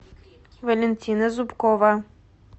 валентина зубкова